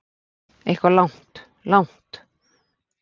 Eitthvað langt, langt.